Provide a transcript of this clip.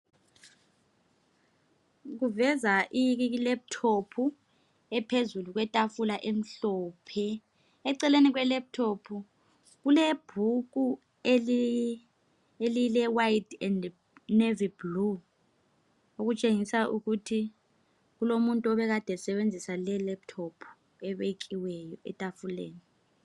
Kuveza I laptop ephezukwetafula emhlophe eceleni kee laptop kulebhuku elile white and navy blue okutshengisa ukuthi kulomuntu obekade obesebenzisa le ilaptop ebekweyo etafuleni.